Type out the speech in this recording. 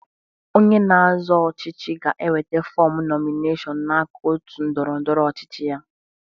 Onye na-azọ ọchịchị ga-enweta fọmụ nọmineshọnụ n'aka òtù ndọrọ ndọrọ ọchịchị ya.